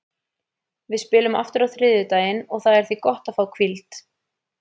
Við spilum aftur á þriðjudaginn og það er því gott að fá hvíld.